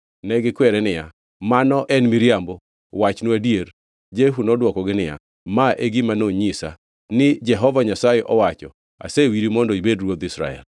Negikwere niya, “Mano en miriambo, wachnwa adier.” Jehu nodwokogi niya, “Ma e gima nonyisa: ‘Ni Jehova Nyasaye owacho: Asewiri mondo ibed ruodh Israel.’ ”